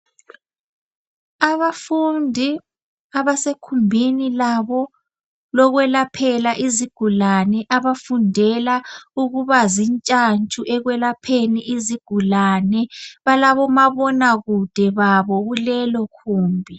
Abafundi abasekumbini labo lokwelaphela izigulane abafundela ukuba zintshantshu ekwelapheni izigulane balabomabonakude babo kulelo kumbi.